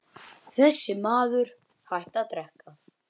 Hún þagði og var hugsi.